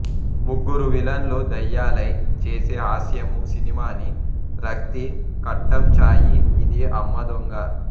ముగ్గురు విలన్లూ దయ్యాలై ఛేసే హాస్యమూ సినిమాని రక్తి కట్టంఛాయి ఇదీ అమ్మ దొంగా